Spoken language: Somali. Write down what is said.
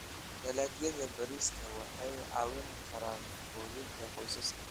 Dalagyada bariiska waxay caawin karaan quudinta qoysaska.